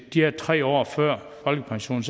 de her tre år før folkepensionen